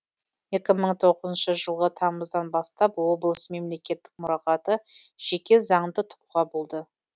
екі мың тоғызыншы жылғы тамыздан бастап облыс мемлекеттік мұрағаты жеке заңды тұлға болды